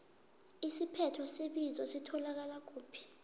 isiphetho sebizo sitholakala kuphi